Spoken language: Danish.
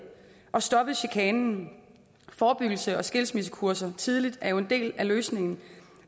og stoppet chikanen forebyggelse og skilsmissekurser tidligt er jo en del af løsningen